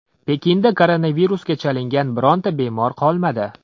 Pekinda koronavirusga chalingan birorta bemor qolmadi.